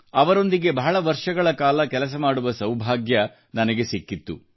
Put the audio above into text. ಅವರೊಂದಿಗೆ ಬಹಳ ವರ್ಷಗಳ ಕಾಲ ಕೆಲಸ ಮಾಡುವ ಸೌಭಾಗ್ಯ ನನಗೆ ಸಿಕ್ಕಿತ್ತು